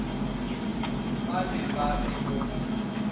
ba be ba re o